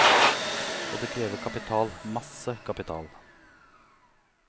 Og det krever kapital, masse kapital.